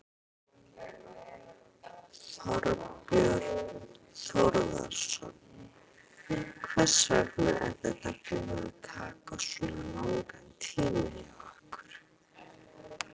Þorbjörn Þórðarson: Hvers vegna er þetta búið að taka svona langan tíma hjá ykkur?